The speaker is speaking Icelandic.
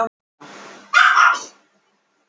Þetta. ætti. að. kenna. þér. sagði hann milli högga.